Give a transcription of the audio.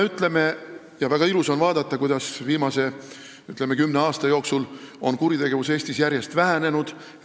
Väga ilus on vaadata, kuidas viimase, ütleme, kümne aasta jooksul on kuritegevus Eestis järjest vähenenud.